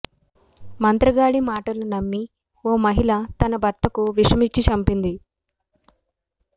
మంత్రగాడి మాటలు నమ్మి ఓ మహిళ తన భర్తకు విషమిచ్చి చంపింది